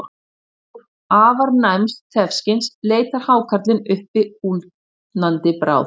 Með hjálp afar næms þefskyns leitar hákarlinn uppi úldnandi bráð.